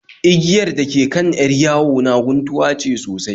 Igiyar dake kan 'yar yawo na guntuwa ce sosai